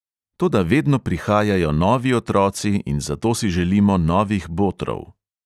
Toda vedno prihajajo novi otroci in zato si želimo novih botrov.